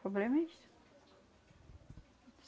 problema é isso.